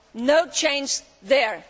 No change there.